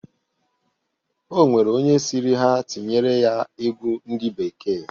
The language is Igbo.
O nwere onye sịrị ha tinyere ya egwu ndị bekee.